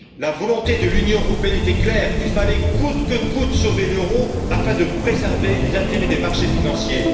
La volonté de l'Union européenne était claire il fallait coûte que coûte sauver l'euro afin de préserver les intérêts des marchés financiers.